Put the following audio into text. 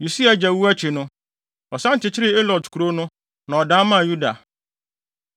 Usia agya wu akyi no, ɔsan kyekyeree Elot kurow no, na ɔdan maa Yuda.